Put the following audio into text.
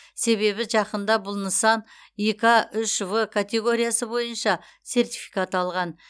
себебі жақында бұл нысан ика үш в катеоргиясы бойынша сертификат алған